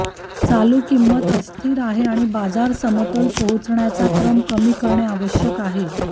चालू किंमत अस्थिर आहे आणि बाजार समतोल पोहोचण्याचा क्रम कमी करणे आवश्यक आहे